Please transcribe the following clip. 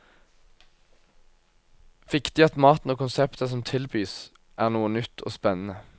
Viktig at maten og konseptet som tilbys, er noe nytt og spennende.